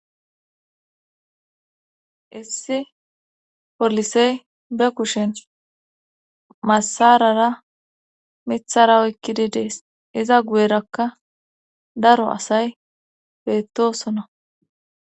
issi polisey be kushen massarara mithara oykkidi dees iza guyerakka daro asay beettosona